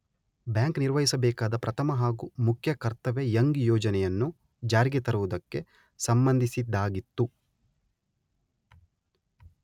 Bank ನಿರ್ವಹಿಸಬೇಕಾದ ಪ್ರಥಮ ಹಾಗೂ ಮುಖ್ಯ ಕರ್ತವ್ಯ ಯಂಗ್ ಯೋಜನೆಯನ್ನು ಜಾರಿಗೆ ತರುವುದಕ್ಕೆ ಸಂಬಂಧಿಸಿದ್ದಾಗಿತ್ತು.